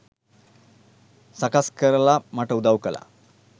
සකස් කරලා මට උදවු කළා.